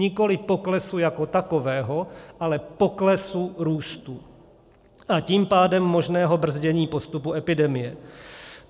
Nikoli poklesu jako takového, ale poklesu růstu, a tím pádem možného brzdění postupu epidemie.